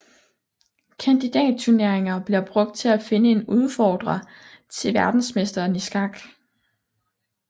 Kandidatturneringer bliver brugt til at finde en udfordrer til verdensmesteren i skak